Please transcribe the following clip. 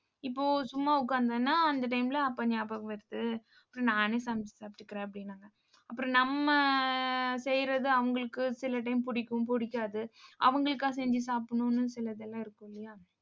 இப்போ சும்மா உட்கார்ந்தேன்னா அந்த time ல அப்பா ஞாபகம் வருது. அப்புறம் நானே சமைச்சு சாப்பிட்டுக்கிறேன் அப்படின்னாங்க. அப்புறம், நம்ம அஹ் செய்யறது அவங்களுக்கு சில time பிடிக்கும் பிடிக்காது. அவங்களுக்கா செஞ்சு சாப்பிடணும்னு சிலதெல்லாம் இருக்குமில்லையா